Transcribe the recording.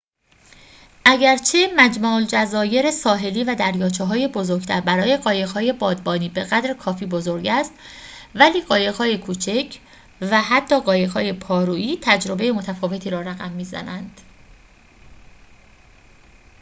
اگرچه مجمع‌الجزایر ساحلی و دریاچه‌های بزرگتر برای قایق‌های بادبانی بقدر کافی بزرگ است ولی قایق‌های کوچک و حتی قایق‌های پارویی تجربه متفاوتی را رقم می‌زند